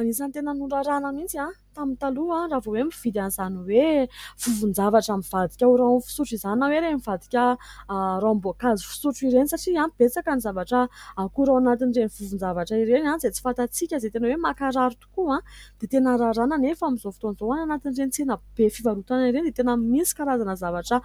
Anisan'ny tena norarana mihintsy tamin'ny taloha, raha vao hoe mividy an'izany hoe vovon'javatra mivadika ho rano amin'ny fisotro izana hoe ireny mivadika ranom-boankazo fisotro ireny. Satria betsaka ny zavatra, ankora ao anatin'ireny vovon'javatra ireny ihany izay tsy fatantsika izay tena hoe makarary tokoa, dia tena rarana anefa amin'izao fotoana izao. Any anatin'ireny tsenabe fivarotana an'ireny, dia tena misy karazana zavatra